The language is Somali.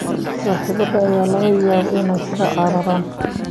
Saaxiibada ayaa laga yaabaa inay kaa cararaan